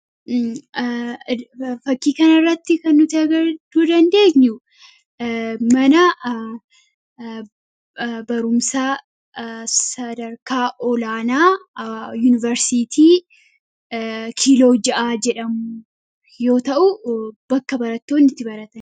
fakkii kana irratti kan nuti arguu dandeenyu mana barumsaa sadarkaa olaanaa yuunivarsitii kiiloo ja'aa jedhamu yoo ta'u bakka barattoonni itti baratanidha.